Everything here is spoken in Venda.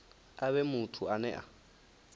a vhe muthu ane a